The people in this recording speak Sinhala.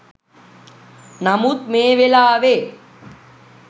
නමුත් මේ වෙලාවේ